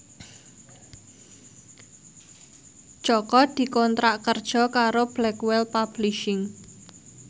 Jaka dikontrak kerja karo Blackwell Publishing